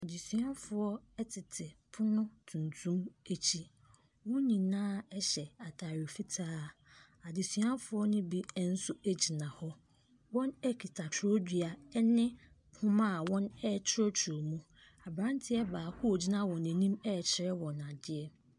Adesuagoɔ tete pono tuntum akyi. Wɔn nyinaa hyɛ ataade fitaa. Adesuafo no bi nso gyina hɔ. Wɔkita kyerɛwdua ne homa a wɔrekyerɛwkyerɛw wɔ mu. Abranteɛ baako a ogyina wɔn anim rekyerɛ wɔn adeɛ.